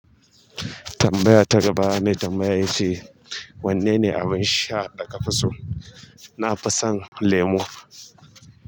Tambaya ta gaba mai tambaya yace. Wanne ne abin sha da ka fi so? Na fi son lemo.